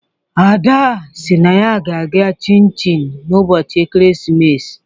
Ada si na ọ ga-eme Chin Chin n'ụbọchị ekeresimesi.